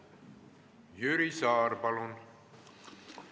Jüri Saar, palun!